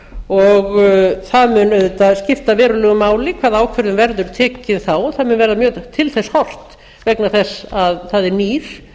og það mun auðvitað skipta verulegu máli hvaða ákvörðun verður tekin þá það mun verða mjög til þess horft vegna þess að það er nýr